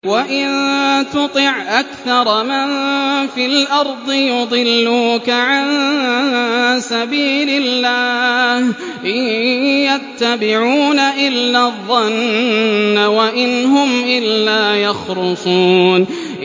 وَإِن تُطِعْ أَكْثَرَ مَن فِي الْأَرْضِ يُضِلُّوكَ عَن سَبِيلِ اللَّهِ ۚ إِن يَتَّبِعُونَ إِلَّا الظَّنَّ وَإِنْ هُمْ إِلَّا يَخْرُصُونَ